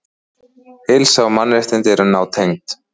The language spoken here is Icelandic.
Heilsa og mannréttindi eru nátengd.